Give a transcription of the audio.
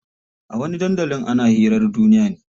A wani dandalin ana hirar duniya ne.